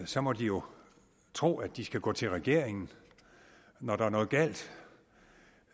så må de jo tro at de skal gå til regeringen når der er noget galt